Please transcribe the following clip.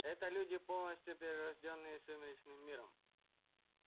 это люди полностью перерождённые сумеречным миром